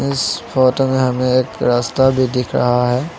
इस फोटो में हमें एक रास्ता भी दिख रहा है।